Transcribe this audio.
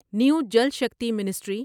new Jal Shakti ministry